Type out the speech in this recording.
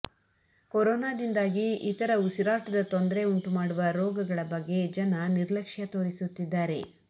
ಕೊರೋನಾದಿಂದಾಗಿ ಇತರ ಉಸಿರಾಟದ ತೊಂದರೆ ಉಂಟು ಮಾಡುವ ರೋಗಗಳ ಬಗ್ಗೆ ಜನ ನಿರ್ಲಕ್ಷ್ಯ ತೋರಿಸುತ್ತಿದ್ದಾರೆ